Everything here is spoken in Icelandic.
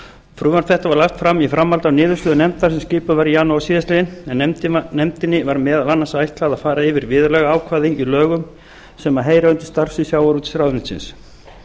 frumvarp þetta var lagt fram í framhaldi af niðurstöðu nefna sem skipuð var í janúar síðastliðnum en nefndinni var meðal annars ætlað að fara yfir viðurlagaákvæða í lögum sem heyra undir starfssvið sjávarútvegsráðuneytisins